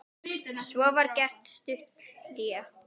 Svo var gert stutt hlé.